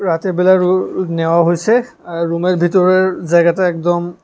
রাতের বেলায় নেওয়া হইসে আর রুমের ভেতরে জায়গাটা একদম--